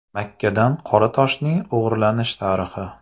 Makkadan Qora toshning o‘g‘irlanish tarixi.